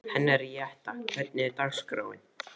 Henríetta, hvernig er dagskráin?